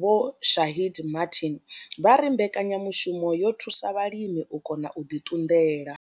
Vho Shaheed Martin vha ri mbekanyamushumo yo thusa vhalimi u kona u ḓi ṱunḓela.